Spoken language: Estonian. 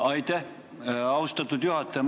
Aitäh, austatud juhataja!